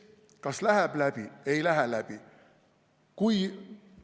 Kas läheb läbi või ei lähe läbi?